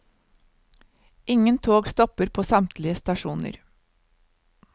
Ingen tog stopper på samtlige stasjoner.